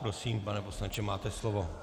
Prosím, pane poslanče, máte slovo.